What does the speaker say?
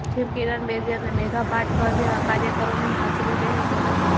જેમાં કિરણ બેદી અને મેધા પાટકર જેવા કાર્યકરોની હાજરી રહેશે